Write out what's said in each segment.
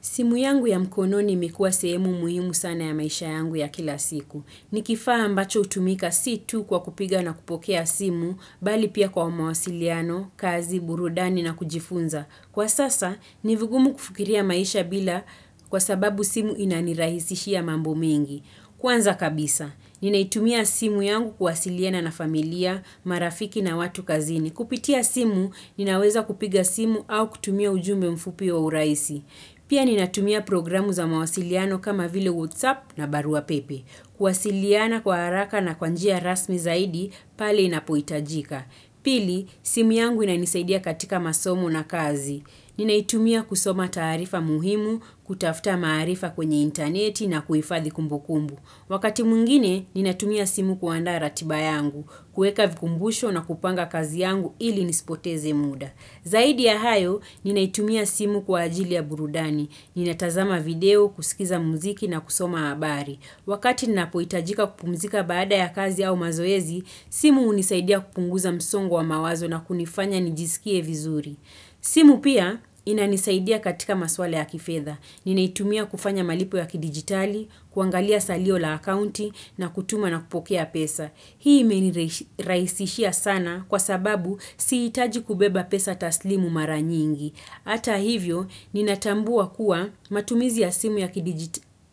Simu yangu ya mkononi imekuwa sehemu muhimu sana ya maisha yangu ya kila siku. Ni kifaa ambacho hutumika situ kwa kupiga na kupokea simu, bali pia kwa mawasiliano, kazi, burudani na kujifunza. Kwa sasa, ni vigumu kufikiria maisha bila kwa sababu simu inanirahisishia mambo mengi. Kwanza kabisa, ninaitumia simu yangu kuwasiliana na familia, marafiki na watu kazini. Kupitia simu, ninaweza kupiga simu au kutumia ujumbe mfupi wa urahisi. Pia ninatumia programu za mawasiliano kama vile WhatsApp na barua pepe. Kuwasiliana kwa haraka na kwanjia rasmi zaidi, pale inapohitajika. Pili, simu yangu inanisaidia katika masomo na kazi. Ninaitumia kusoma taarifa muhimu, kutafta maarifa kwenye interneti na kuifadhi kumbukumbu. Wakati mwingine, ninatumia simu kuandaa ratiba yangu, kuweka vikumbusho na kupanga kazi yangu ili nisipoteze muda. Zaidi ya hayo, ninaitumia simu kwa ajili ya burudani. Ninatazama video, kusikiza mziki na kusoma habari. Wakati ninapohitajika kupumzika baada ya kazi au mazoezi, simu hunisaidia kupunguza msongo wa mawazo na kunifanya nijisikie vizuri. Simu pia inanisaidia katika maswala ya kifedha. Ninaitumia kufanya malipo ya kidigitali, kuangalia salio la akaunti na kutuma na kupokea pesa. Hii imenirahisishia sana kwa sababu sihitaji kubeba pesa taslimu mara nyingi. Hata hivyo, ninatambua kuwa matumizi ya simu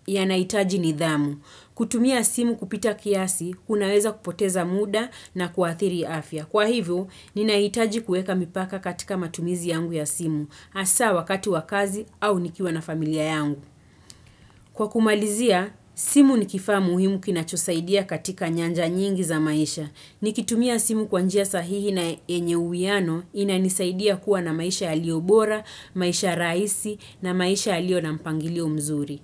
ya nahitaji ni dhamu. Kutumia simu kupita kiasi, kunaweza kupoteza muda na kuathiri afya. Kwa hivyo, ninahitaji kuweka mipaka katika matumizi yangu ya simu, hasa wakati wakazi au nikiwa na familia yangu. Kwa kumalizia, simu ni kifaa muhimu kinachosaidia katika nyanja nyingi za maisha. Nikitumia simu kwanjia sahihi na yenye uwiano inanisaidia kuwa na maisha yaliyo bora, maisha rahisi na maisha yaliyo na mpangilio mzuri.